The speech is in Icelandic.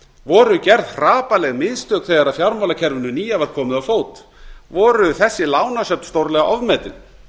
voru gerð hrapalleg mistök þegar fjármálakerfinu nýja var komið á fót voru þessi lánasöfn stórlega ofmetin